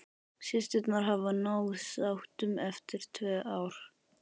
Systurnar hafa náð sáttum eftir tvö ár.